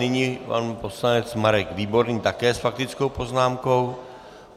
Nyní pan poslanec Marek Výborný, také s faktickou poznámkou.